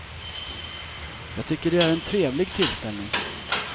Jag tycker det är en trevlig tillställning.